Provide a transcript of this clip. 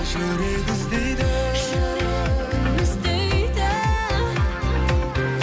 жүрек іздейді жүрегім іздейді